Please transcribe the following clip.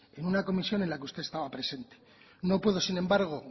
en una comisión en la que usted estaba presente no puedo sin embargo